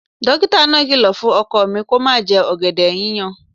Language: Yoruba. Dókítà náà kìlọ̀ fún ọkọ mi kó má jẹ ọ̀gẹ̀dẹ̀ yíyan